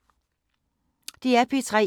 DR P3